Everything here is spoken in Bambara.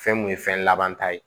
Fɛn mun ye fɛn laban ta ye